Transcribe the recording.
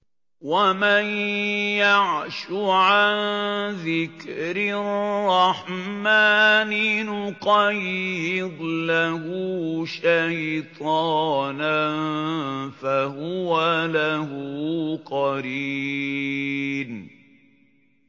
وَمَن يَعْشُ عَن ذِكْرِ الرَّحْمَٰنِ نُقَيِّضْ لَهُ شَيْطَانًا فَهُوَ لَهُ قَرِينٌ